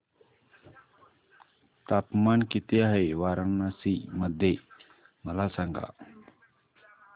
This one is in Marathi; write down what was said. तापमान किती आहे वाराणसी मध्ये मला सांगा